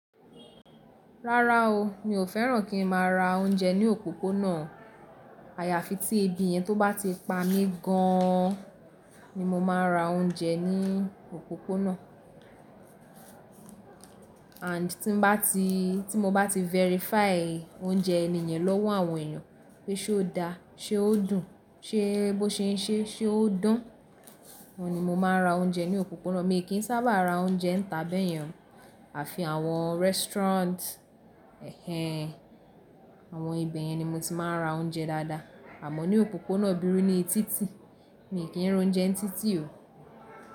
Rárá o, mi ò fẹ́ràn kí n má ra oúnjẹ ní òpópónà. Àyàfi tí ebi yẹn tó bá ti pa mí gan an ni mo ma ń ra oúnjẹ ní òpópónà. And tí mo bá ti verify oúnjẹ ẹni yẹn lọ́wọ́ àwọn èèyàn pé ṣe ó da, ṣe ó dùn, ṣe bó ṣe ń ṣe, ṣe ó dán, óun ni mo máa ń ra oúnjẹ ní òpópónà. Mi kì í sábà ra oúnjẹ ńta bẹ́yẹn àfi àwọn restaurant ẹhen, àwọn ibeyen ni mo ti máa ń ra oúnjẹ dáadáa. Àmọ́ ní òpópónà bíru ní títì, mi kì n rounjẹ ń títì o.